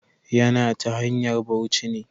Ya na ta hanyar bauci ne.